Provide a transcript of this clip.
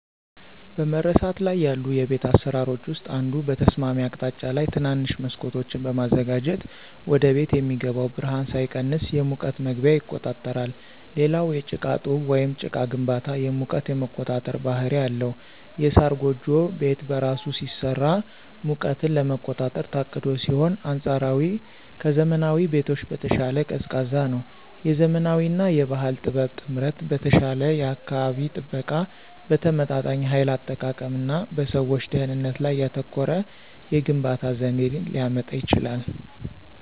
በመረሳት ላይ ያሉ የቤት አሰራሮች ውስጥ አንዱ በተስማሚ አቅጣጫ ላይ ትናንሽ መስኮቶችን በማዘጋጀት ወደቤት የሚገባው ብርሃን ሳይቀንስ የሙቀት መግቢያ ይቆጣጠራል። ሌላው የጭቃ ጡብ ወይም ጭቃ ግንባታ የሙቀት የመቆጣጠር ባህሪ አለው። የሳር ጎጆ ቤት በራሱ ሲሰራ ሙቀትን ለመቆጣጠር ታቅዶ ሲሆን አንፃራዊ ከዘመናዊ ቤቶች በተሻለ ቀዝቃዛ ነው። የዘመናዊ እና የባህል ጥበብ ጥምረት በተሻለ የአካባቢ ጥበቃ፣ በተመጣጣኝ ኃይል አጠቃቀም እና በሰዎች ደህንነት ላይ ያተኮረ የግንባታ ዘዴን ሊያመጣ ይችላል።